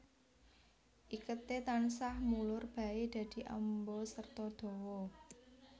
Iketé tansah mulur baé dadi amba serta dawa